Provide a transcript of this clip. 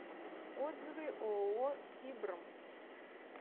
отзывы ооо сибрм